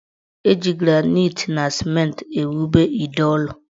Eji granaiti na simenti ewube ide ụlọ